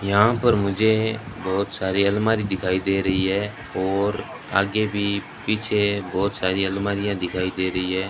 यहां पर मुझे बहोत सारी आलमारी दिखाई दे रही है और आगे भी पीछे बहोत सारी आलमारीयां दिखाई दे रही है।